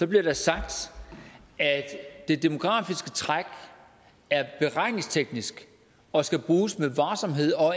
bliver der sagt at det demografiske træk er beregningsteknisk og skal bruges med varsomhed og